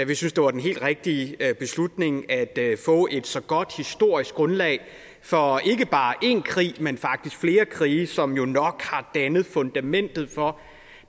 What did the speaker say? vi synes det var den helt rigtige beslutning at få et så godt historisk grundlag for ikke bare én krig men faktisk flere krige som jo nok har dannet fundamentet for